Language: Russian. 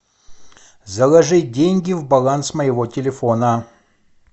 заложить деньги в баланс моего телефона